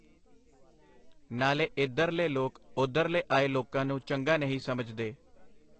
ਨਾਲੇ ਇਧਰਲੇ ਲੋਕ ਓਧਰਲੇ ਆਏ ਲੋਕਾਂ ਨੂੰ ਚੰਗਾ ਨਹੀਂ ਸਮਝਦੇ.